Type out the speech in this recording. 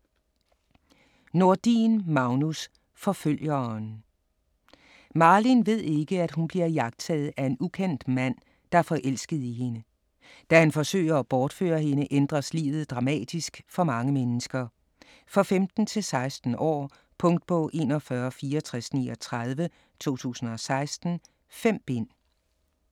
Nordin, Magnus: Forfølgeren Malin ved ikke, at hun bliver iagttaget af en ukendt mand, der er forelsket i hende. Da han forsøger at bortføre hende, ændres livet dramatisk for mange mennesker. For 15-16 år. Punktbog 416439 2016. 5 bind.